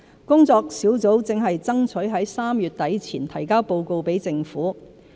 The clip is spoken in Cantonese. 工作小組正爭取在3月底前提交報告給政府。